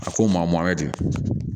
A ko maa mɔn ten